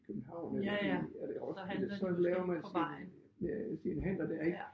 København eller i eller i Roskilde så laver man sin sine handler dér ik